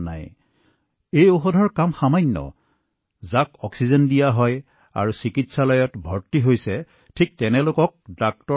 এয়া হৈছে অলপ ঔষধৰ কাম যাক অক্সিজেনৰ প্ৰয়োজন প্ৰাণ বায়ু অক্সিজেনৰ প্ৰয়োজন যাক চিকিৎসালয়ত ভৰ্তি কৰোৱা হয় আৰু চিকিৎসকে কলেহে গ্ৰহণ কৰিব লাগে